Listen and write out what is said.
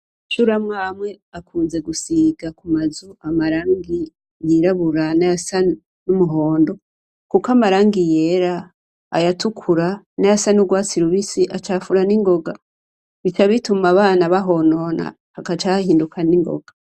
Amashuri amwe amwe akunze gusiga ku mazu amarangi yirabura nayasa n'umuhondo kuko amarangi yera, ayatukura nayasa n'urwatsi rubisi acafura ningoga bica bituma abana bahonona hagaca hahinduka ni ngoga.